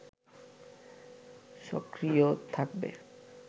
সক্রিয় থাকবে